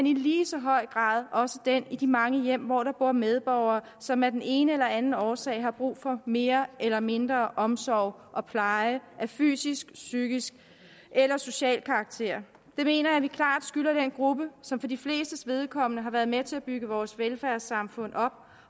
i lige så høj grad også den i de mange hjem hvor der bor medborgere som af den ene eller anden årsag har brug for mere eller mindre omsorg og pleje af fysisk psykisk eller social karakter det mener jeg at vi klart skylder den gruppe som for de flestes vedkommende har været med til at bygge vores velfærdssamfund op